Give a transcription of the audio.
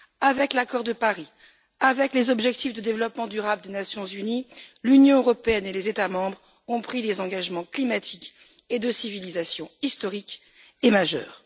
Avec l'accord de Paris, avec les objectifs de développement durable des Nations unies, l'Union européenne et les États membres ont pris des engagements climatiques et de civilisation historiques et majeurs.